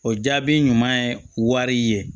O jaabi ɲuman ye wari ye